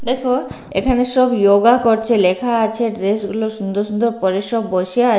দেখো এখানে সব যোগা করছে লেখা আছে ড্রেস গুলো সুন্দর সুন্দর পরে সব বসে আছে।